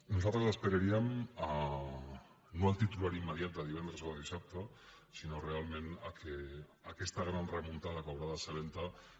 nosaltres esperaríem no el titular immediat de divendres o de dissabte sinó realment que aquesta gran remuntada que haurà de ser lenta